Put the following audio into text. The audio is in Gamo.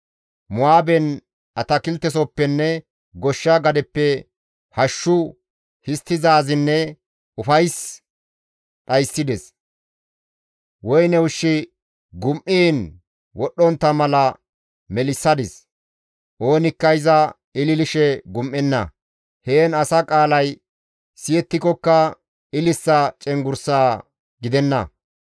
Mo7aaben atakiltesoppenne goshsha gadeppe hashshu histtizaazinne ufayssi dhaydes; woyne ushshi gum7iin wodhdhontta mala melissadis; oonikka iza ililishe gum7enna; heen asa qaalay siyettikokka ililisa cenggurssa gidenna.